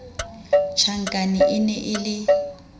tjhankane e ne e le